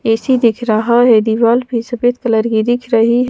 AC दिख रहा है दीवाल फिर सफेद कलर की दिख रही --